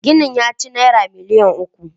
Ginin ya ci Naira miliyan uku.